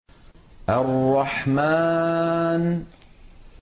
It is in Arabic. الرَّحْمَٰنُ